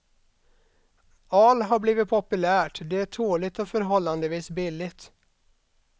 Al har blivit populärt, det är tåligt och förhållandevis billigt.